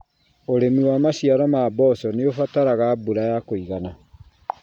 ũrĩmi wa maciaro ma mboco nĩ ũbataraga mbura ya kũigana.